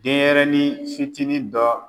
Den ɲɛrɛnin fitinin dɔ